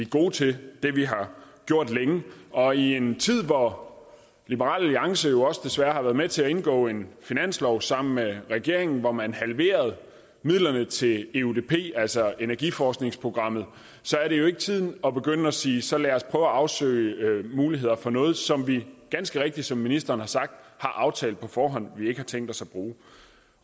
gode til det vi har gjort længe og i en tid hvor liberal alliance jo også desværre har været med til at indgå en finanslov sammen med regeringen hvor man halverede midlerne til eudp altså energiforskningsprogrammet er det jo ikke tiden at begynde at sige at så lad os prøve at afsøge mulighederne for noget som vi ganske rigtigt som ministeren har sagt har aftalt på forhånd vi ikke har tænkt os